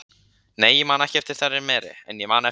Nei, ég man ekki eftir þeirri meri, en ég man eftir